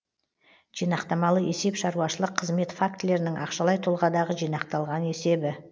жинақтамалы есеп шаруашылық қызмет фактілерінің ақшалай тұлғадағы жинақталған есебі